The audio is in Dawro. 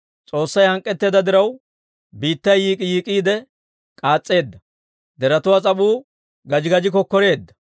«S'oossay hank'k'etteedda diraw, Biittay yiik'k'iyiik'k'iide k'aas's'eedda; deretuwaa s'ap'uu gaji gaji kokkoreedda.